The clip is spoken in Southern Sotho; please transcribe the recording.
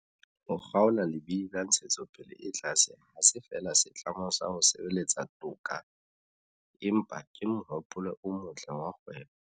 Ho kgaola lebidi la ntshetsopele e tlase ha se feela setlamo sa ho sebeletsa toka, empa ke mohopolo o motle wa kgwebo.